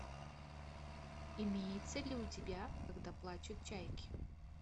имеется ли у тебя когда плачут чайки